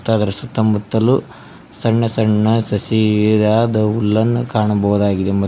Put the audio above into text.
ಅದರ ಸುತ್ತಮುತ್ತಲು ಸಣ್ಣ ಸಣ್ಣ ಸಸಿ ಇದಾದ ಹುಲ್ಲನ್ನು ಕಾಣಬೋದಾಗಿದೆ ಮ --